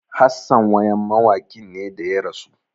Hassan wayam mawakin ne da ya rasu